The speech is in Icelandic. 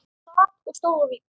Sat og stóð á víxl.